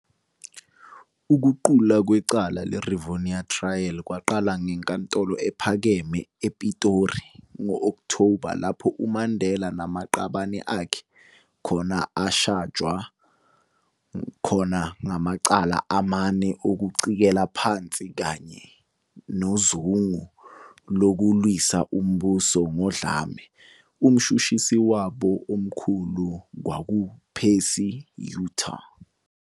Ukuqulwa kwecala le-Rivonia Trial kwaqala eNkantolo ePhakeme ePitori ngo-Okthoba, lapho uMandela namaqabane akhe khona ashajwa khona ngamacala amane okucikela phansi kanye nozungu lokuwisa umbuso ngodlame, uMshushusi wabo omkhulu kwakungu-Percy Yutar.